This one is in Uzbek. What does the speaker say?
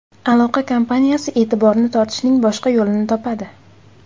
aloqa kompaniyasi e’tiborini tortishning boshqa yo‘lini topadi.